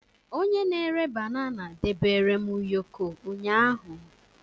Onye na-ere banana debere m ụyọkọ ụnyahụ